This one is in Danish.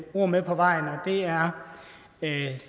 ord med på vejen og det er